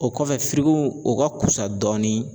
O kɔfɛ o ka kusa dɔɔni